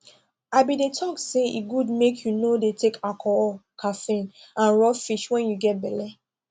i been de talk say e good mk you no de take alcohol caffeine and raw fish when you get belle